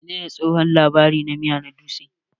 Menene tsohon labari na miya na dutse?